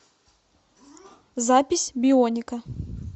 запись бионика